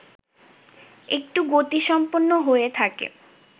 একটু গতিসম্পন্ন হয়ে থাকে